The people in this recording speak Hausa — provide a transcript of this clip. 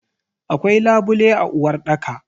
Akwai labule a uwarɗaka.